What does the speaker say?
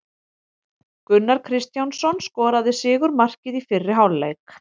Gunnar Kristjánsson skoraði sigurmarkið í fyrri hálfleik.